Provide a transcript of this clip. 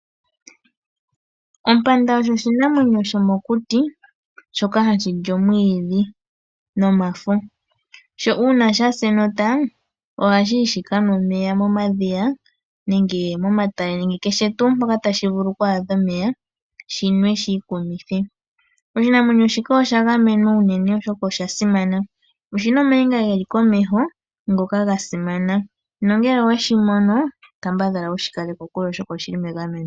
Ompanda osho oshinamwenyo shomokuti, shoka ha shi li omwiidhi nomafo. Uuna sha sa enota oha shi kanwa omeya momadhiya nenge momatale nakehe tuu mpoka ta shi vulu oku adha omeya shinwe shiikumithwe. Oshinamwenyo shika osha gamenwa unene oshoka osha simana, oshi na omainga ge li komeho ngoka ga simana nongele owe shi mono, kambadhala wu shi kale kokule oshoka oshi li megameno.